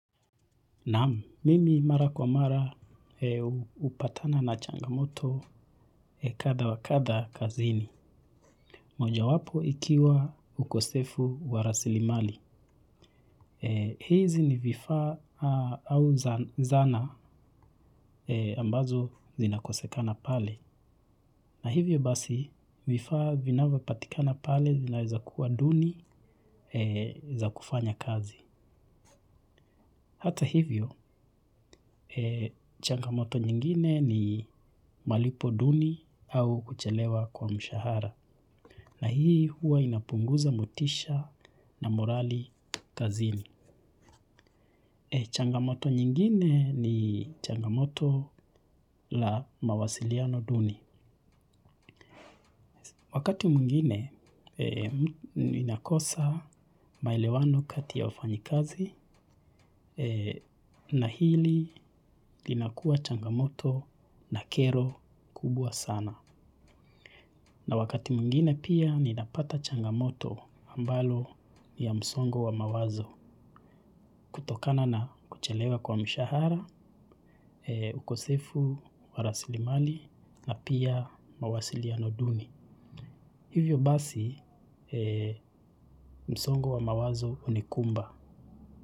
Naam, mimi mara kwa mara upatana na changamoto kadha kwa kadha kazini. Moja wapo ikiwa ukosefu wa rasilimali. Hizi ni vifaa au zana ambazo zinakosekana pale. Na hivyo basi vifaa vinavyo patikana pale zinaweza kuwa duni za kufanya kazi. Hata hivyo, changamoto nyingine ni malipo duni au kuchelewa kwa mshahara. Na hii huwa inapunguza motisha na morali kazini. Changamoto nyingine ni changamoto la mawasiliano duni. Wakati mwingine ninakosa maelewano kati ya wafanyikazi na hili linakuwa changamoto na kero kubwa sana. Na wakati mwingine pia ninapata changamoto ambalo niya msongo wa mawazo kutokana na kuchelewa kwa mshahara, ukosefu, wa rasilimali na pia mawasiliano nduni. Hivyo basi msongo wa mawazo unikumba.